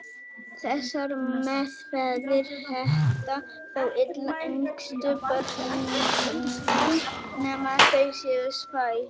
Þessar meðferðir henta þó illa yngstu börnunum nema þau séu svæfð.